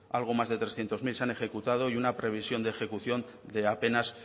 algo más de trescientos mil se han ejecutado y una previsión de ejecución de apenas